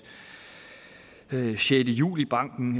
sjette juli banken